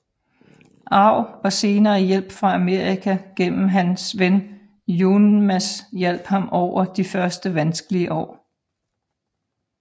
Arv og senere hjælp fra Amerika gennem hans ven Youmans hjalp ham over de første vanskelige år